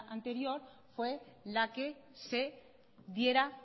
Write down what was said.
anterior fue la que se diera